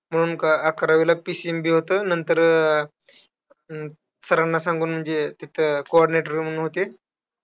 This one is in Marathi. म्हणून अकरावीला PCMB होतं. नंतर अं सरांना सांगून जे तिथं coordinator म्हणून होते.